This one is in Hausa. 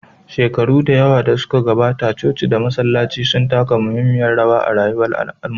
Shekaru da yawa da suka gabata, coci da masallatai sun taka muhimmiyar rawa a rayuwar al'umma.